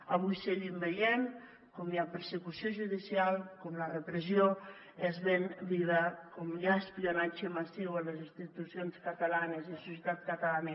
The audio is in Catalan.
avui seguim veient com hi ha persecució judicial com la repressió és ben viva com hi ha espionatge massiu a les institucions catalanes i la societat catalana